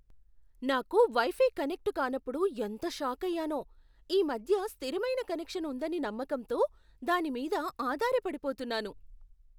నాకు wifi connect కానప్పుడు ఎంత షాకయ్యానో. ఈ మధ్య స్థిరమైన కనెక్షన్ ఉందని నమ్మకంతో దాని మీద ఆధారపడిపోతున్నాను.